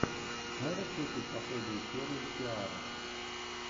можешь включить последнюю серию сиары